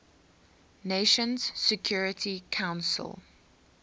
nations security council